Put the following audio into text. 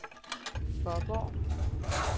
Fåborg